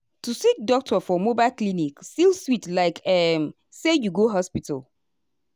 ah to see doctor for mobile clinic still sweet likeum say you go hospital.